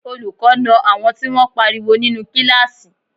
Olùkọ́ na àwọn tí wọ́n pariwo nínú kíláàsì